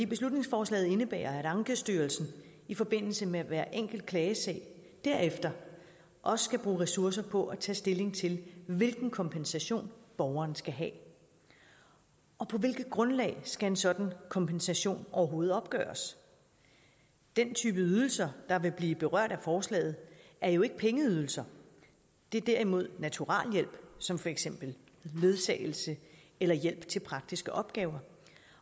beslutningsforslaget indebærer at ankestyrelsen i forbindelse med hver enkelt klagesag derefter også skal bruge ressourcer på at tage stilling til hvilken kompensation borgeren skal have og på hvilket grundlag skal en sådan kompensation overhovedet opgøres den type ydelser der vil blive berørt af forslaget er jo ikke pengeydelser det er derimod naturaliehjælp som for eksempel ledsagelse eller hjælp til praktiske opgaver